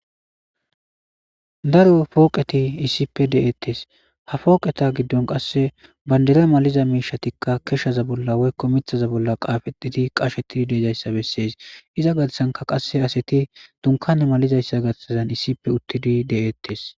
daro pooqeti issippe de7ettes ha fooqeta giddon qasse bandira maliza miishatikka keshshaza bolla woykko mithaza bolla qaafetiti qashetidi deejayssa bessees iza gatsanka qasse aseti dunkane malizayssa gatsazan issippe uttidi de7eettes